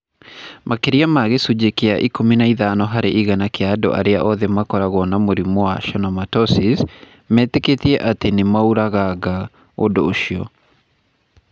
Makĩria ma gĩcunjĩ kĩa 15 harĩ igana kĩa andũ othe arĩa makoragwo na mũrimũ wa schwannomatosis, metĩkĩtie atĩ nĩ maũragaga ũndũ ũcio.